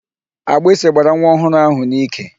Agbịsị gbara nwa ọhụrụ ahụ n'ike.